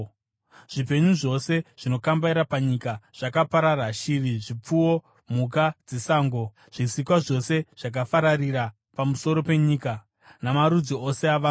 Zvipenyu zvose zvinokambaira panyika zvakaparara, shiri, zvipfuwo, mhuka dzesango, zvisikwa zvose zvakafararira pamusoro penyika, namarudzi ose avanhu.